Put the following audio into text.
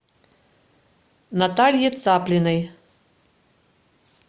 наталье цаплиной